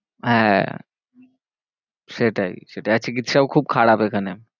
হ্যাঁ সেটাই, সেটাই আর চিকিৎসাও খুব খারাপ এখানে